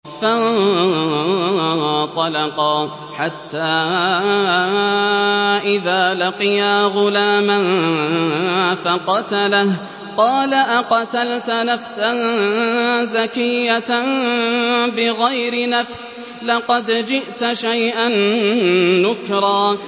فَانطَلَقَا حَتَّىٰ إِذَا لَقِيَا غُلَامًا فَقَتَلَهُ قَالَ أَقَتَلْتَ نَفْسًا زَكِيَّةً بِغَيْرِ نَفْسٍ لَّقَدْ جِئْتَ شَيْئًا نُّكْرًا